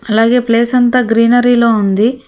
అలాగే ప్లేస్ అంత గ్రీనరీలో ఉంది.